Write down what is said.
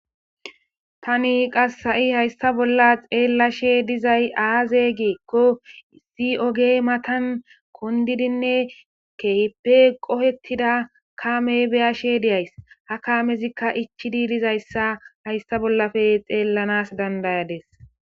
tani qasha7i hayssa bolla xeellashe dizay aaze geekko si oge matan kondidinne kehipe qohettida kaame beyashe deyays ha kaamezikka ichi di dizayssa hayssa bollafe xeellanas dandayades